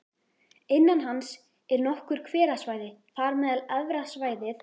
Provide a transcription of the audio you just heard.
Innan hans eru nokkur hverasvæði, þar á meðal Efra svæðið